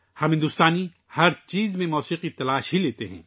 ہم بھارتی ہر چیز میں موسیقی تلاش کرتے ہیں